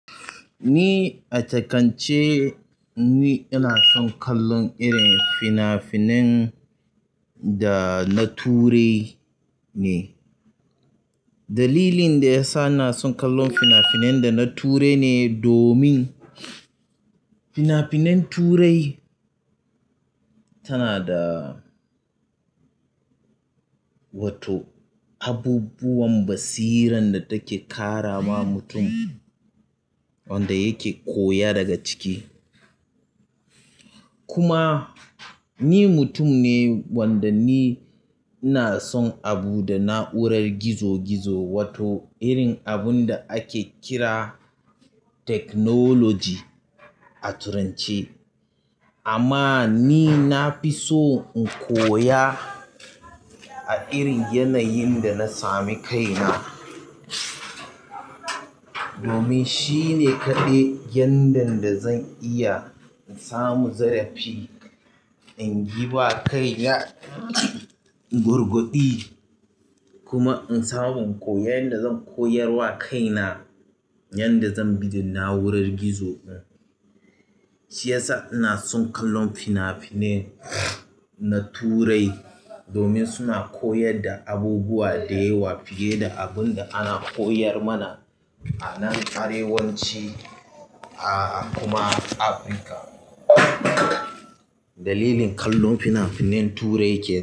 Ni a takance, ni ina son kallon irin fina-finan da na turai ne. Dalilin da ya sa ina son kallon fina-finan da na turai ne domin fina-finan Turai tana da wato abubuwan basiran da take ƙara wa mutum wanda yake koya daga ciki. Kuma ni mutum ne wanda ni ina son abu da na'urar gizo-gizo wato irin abun da ake kira technology a turanci. Amma ni na fi so in koya a irin yanayin da na sami kaina. Domin shi ne kaɗai yanda da zan iya in samu zarafi, in giba kaina gurguɗi kuma in samu in koya inda zan koyar wa kaina yanda zan bi da na'urar gizo ɗin. Shi yasa ina son kallon fina-finan na Turai domin suna koyar da abubuwa da yawa fiye da abun da ana koyar mana a nan arewanci a a kuma Afirka. Dalilin kallon fina-finan Turai ke.